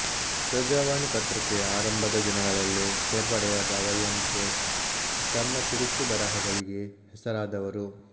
ಪ್ರಜಾವಾಣಿ ಪತ್ರಿಕೆಯ ಆರಂಭದ ದಿನಗಳಲ್ಲೇ ಸೇರ್ಪಡೆಯಾದ ವೈಯೆನ್ಕೆ ತಮ್ಮ ಚುರುಕು ಬರಹಗಳಿಗೆ ಹೆಸರಾದವರು